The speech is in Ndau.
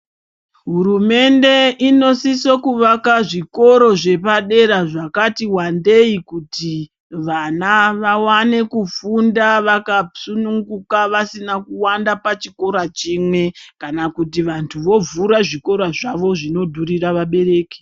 Hurumende inosise kuvaka zvikora zvepadera zvakati wandei kuitira kuti vana vawane kufunda vakasununguka vasina kuwanda pachikora chimwe kana kuti vanhu vovhura zvikora zvavo zvinodhurira vabereki.